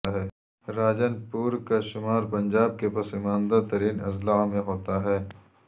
راجن پور کا شمار پنجاب کے پسماندہ ترین اضلاع میں ہوتا ہے